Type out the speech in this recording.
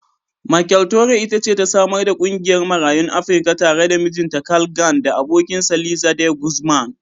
Michele Torrey it ce ta samar da ƙungiyar Marayun Afrika tare da mijinta Carl Gann da abokinsa Liza De Guzman.